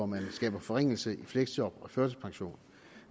man skaber forringelse i fleksjob og førtidspension og